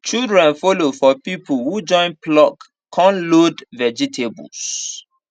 children follow for people who join pluck con load vegetables